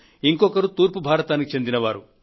ఇంకొకరు తూర్పు భారతదేశానికి చెందిన వారు